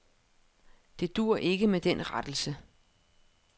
Det duer ikke med den rettelse.